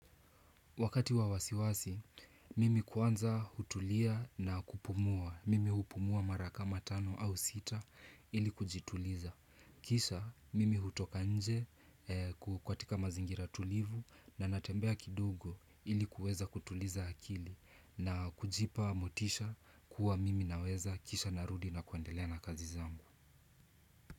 Wakati wa wasiwasi, mimi kwanza hutulia na kupumua. Mimi hupumua mara kama tano au sita ili kujituliza. Kisha, mimi hutoka nje katika mazingira tulivu na natembea kidogo ili kuweza kutuliza akili na kujipa motisha kuwa mimi naweza kisha narudi na kuendelea na kazi zangu.